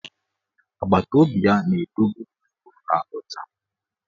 Agbataobi ya na-edobe gburugburu ha ọcha.